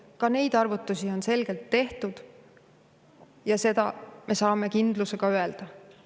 Ka neid arvutusi on tehtud ja seda me saame suure kindlusega öelda.